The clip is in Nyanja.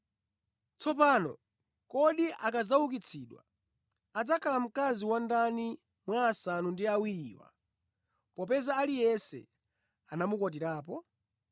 Tsopano, kodi akadzaukitsidwa adzakhala mkazi wa ndani mwa asanu ndi awiriwa popeza aliyense anamukwatirapo?”